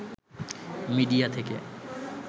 media থেকে